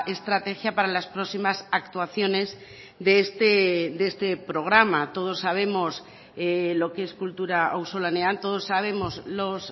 estrategia para las próximas actuaciones de este programa todos sabemos lo que es kultura auzolanean todos sabemos los